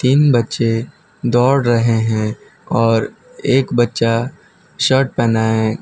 तीन बच्चे दौड़ रहे हैं और एक बच्चा शर्ट पहना है।